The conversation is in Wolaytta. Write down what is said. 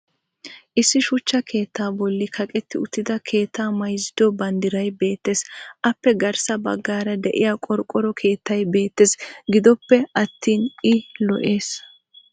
issi shuchcha keettaa bolli kaqetti utidda keettaa mayzzido banddiray beetays. appe garssa bagaara diya qorqqoro keettay beetees. gidoppe attin i lo'ees.